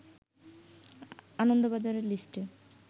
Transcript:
আনন্দবাজারের লিস্টে